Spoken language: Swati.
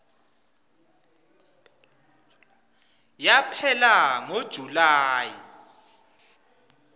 yaphela ngo july